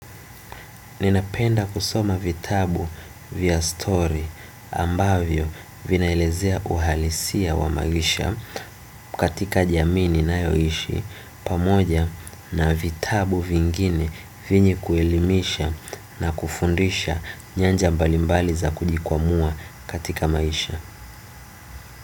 Ninapenda kusoma vitabu vya story ambavyo vinaelezea uhalisia wa maisha katika jamii ninayoishi pamoja na vitabu vingine vyenye kuelimisha na kufundisha nyanja mbalimbali za kujikwamua katika maisha.